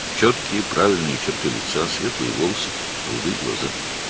Üzünün dəqiq, düzgün cizgiləri, açıq rəngli saçları, mavi gözləri vardı.